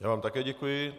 Já vám také děkuji.